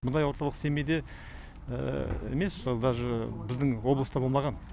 мұндай орталық семейде емес сол даже біздің облыста болмаған